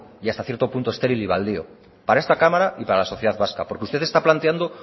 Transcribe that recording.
y hasta cierto punto estéril y baldío para esta cámara y para la sociedad vasca porque usted está planteando